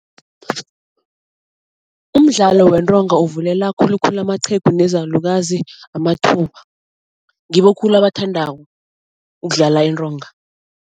Umdlalo wentonga uvulela khulukhulu amaqhegu nezalukazi amathuba. Ngibo khulu abathandako ukudlala intonga.